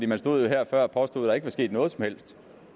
man stod jo her før og påstod at der ikke var sket noget som helst